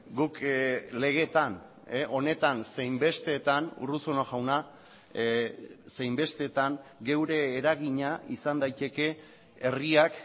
guk legeetan honetan zein besteetan urruzuno jauna zein besteetan geure eragina izan daiteke herriak